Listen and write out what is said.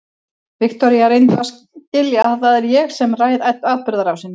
Viktoría, reyndu að skilja að það er ég sem ræð atburðarásinni.